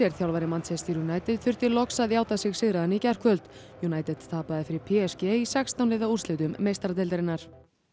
þjálfari Manchester United þurfti loks að játa sig sigraðan í gærkvöld United tapaði fyrir p s g í sextán liða úrslitum meistaradeildarinnar